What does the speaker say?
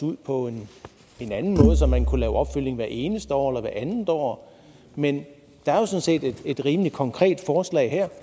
ud på en anden måde så man kunne lave opfølgning hvert eneste år eller hvert andet år men der er jo et rimelig konkret forslag her